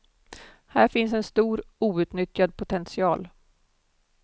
Här finns en stor outnyttjad potential.